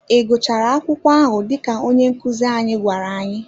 Ị gụchara akwụkwọ ahụ dịka onye nkuzi anyị gwara anyị?